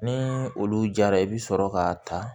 Ni olu jara i bɛ sɔrɔ k'a ta